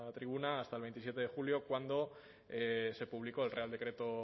tribuna hasta el veintisiete de julio cuando se publicó el real decreto